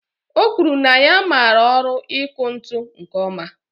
O kwuru na ya mara ọrụ iku ntụ nke oma